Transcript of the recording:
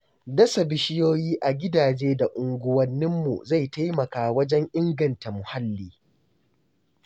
Dasa bishiyoyi a gidaje da unguwanninmu zai taimaka wajen inganta muhalli.